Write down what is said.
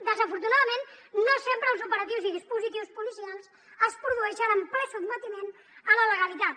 desafortunadament no sempre els operatius i dispositius policials es produeixen en ple sotmetiment a la legalitat